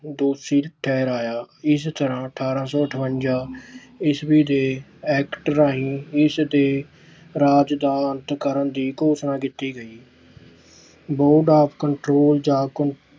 ਦੋਸ਼ੀ ਠਹਿਰਾਇਆ। ਇਸ ਤਰ੍ਹਾਂ ਅਠਾਰਾਂ ਸੌ ਅੱਠਵੰਜਾ ਈਸਵੀ ਦੇ act ਰਾਹੀਂ ਇਸ ਦੇ ਰਾਜ ਦਾ ਅੰਤ ਕਰਨ ਦੀ ਘੋਸ਼ਣਾ ਕੀਤੀ ਗਈ। control ਜਾਂ